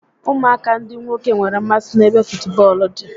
Ụmụaka ndị nwoke nwere mmasị n'ebe futubọọlụ dị